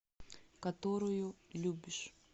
которую любишь